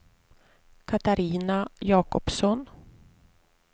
Catarina Jacobsson